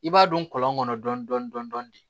I b'a don kɔlɔn kɔnɔ dɔɔni dɔɔni dɔɔni de